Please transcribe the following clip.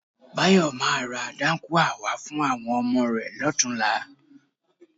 Báyọ̀ máa ra dáńkúà wá fún àwọn ọmọ rẹ lọ́tùnúnlá.